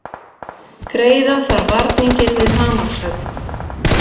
Greiða þarf varninginn við hamarshögg